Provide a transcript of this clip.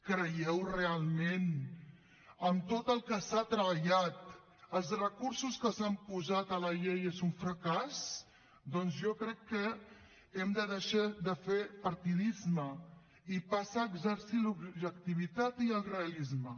creieu realment amb tot el que s’ha treballat els recursos que s’han posat a la llei que és un fracàs doncs jo crec que hem de deixar de fer partidisme i passar a exercir l’objectivitat i el realisme